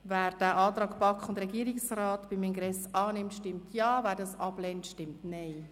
Wer den Antrag von BaK und Regierungsrat zum Ingress annimmt, stimmt Ja, wer diesen ablehnt, stimmt Nein.